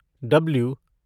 W